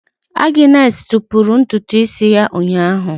Agnes tọpụrụ ntutu isi ya ụnyahụ.